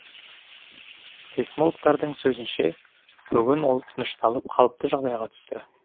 сейсмологтардың сөзінше бүгін ол тынышталып қалыпты жағдайға түсті